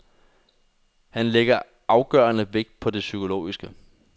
Han lægger afgørende vægt på det psykologiske.